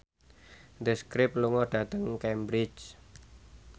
The Script lunga dhateng Cambridge